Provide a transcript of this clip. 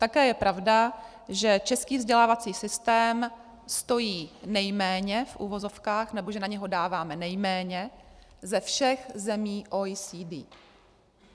Také je pravda, že český vzdělávací systém stojí nejméně, v uvozovkách, nebo že na něj dáváme nejméně ze všech zemí OECD.